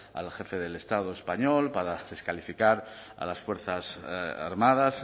al jefe del estado español para descalificar a las fuerzas armadas